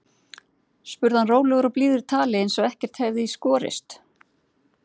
spurði hann rólegur og blíður í tali eins og ekkert hefði í skorist.